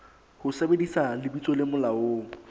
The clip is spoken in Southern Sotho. ho sebedisa lebitso le molaong